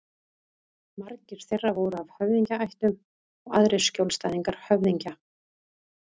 Margir þeirra voru af höfðingjaættum og aðrir skjólstæðingar höfðingja.